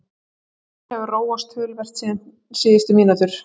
Leikurinn hefur róast töluvert síðustu mínútur.